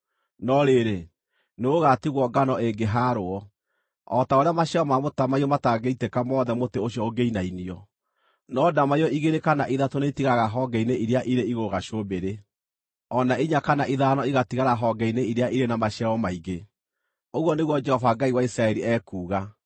No rĩrĩ, nĩgũgatigwo ngano ĩngĩhaarwo, o ta ũrĩa maciaro ma mũtamaiyũ matangĩitĩka mothe mũtĩ ũcio ũngĩinainio, no ndamaiyũ igĩrĩ kana ithatũ nĩitigaraga honge-inĩ iria irĩ igũrũ gacũmbĩrĩ, o na inya kana ithano igatigara honge-inĩ iria irĩ na maciaro maingĩ,” ũguo nĩguo Jehova Ngai wa Isiraeli ekuuga.